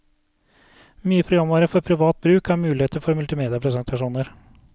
Mye programvare for privat bruk har muligheter for multimediapresentasjoner.